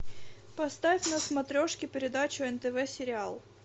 поставь на смотрешке передачу нтв сериал